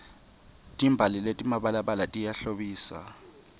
timbali letimabalabala tiyahlobisa